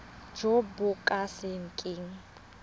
jo bo ka se keng